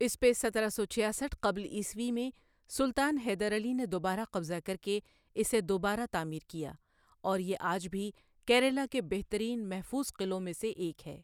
اس پہ سترہ سو چھیاسٹھ قبل عیسوی میں سلطان حیدر علی نے دوبارہ قبضہ کر کے اسے دوبارہ تعمیر کیا اور یہ آج بھی کیرالہ کے بہترین محفوظ قلعوں میں سے ایک ہے۔